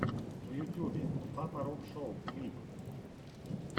в ютьюбе папа роб шоу клип